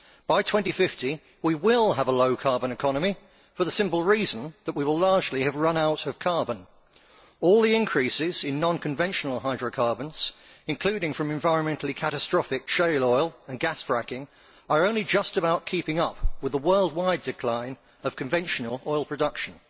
By 2050 we will have a low carbon economy for the simple reason that we will largely have run out of carbon. All the increases in non conventional hydrocarbons, including from environmentally catastrophic shale oil and gas fracking, are only just about keeping up with the worldwide decline of conventional oil production.